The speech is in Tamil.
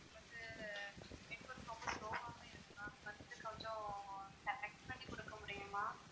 இங்க network ரொம்ப low வாவே இருக்கு ma'am வந்து கொஞ்சம் connect பண்ணி கொடுக்க முடியுமா?